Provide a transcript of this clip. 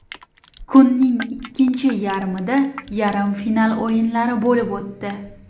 Kunning ikkinchi yarmida yarim final o‘yinlari bo‘lib o‘tdi.